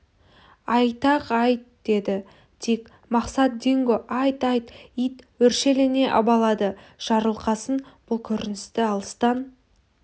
айтақ айт деді дик мақсат динго айт айт ит өршелене абалады жарылқасын бұл көріністі алыстан